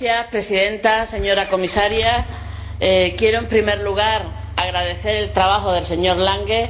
Señora Presidenta, señora Comisaria, quiero, en primer lugar, agradecer el trabajo del señor Lange.